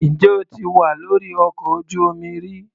Ǹjẹ́ o ti wà lórí ọkọ̀ ojú-omi rí?